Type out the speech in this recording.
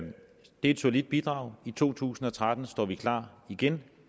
et solidt bidrag i to tusind og tretten står vi klar igen